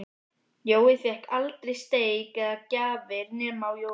Jói fékk aldrei steik eða gjafir nema á jólunum.